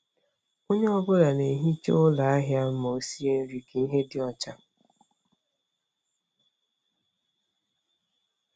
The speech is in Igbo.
Onye ọ bụla na-ehicha ụlọ ahịa ma ọ sie nri ka ihe dị ọcha.